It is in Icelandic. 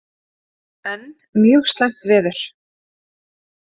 Enn mjög slæmt veður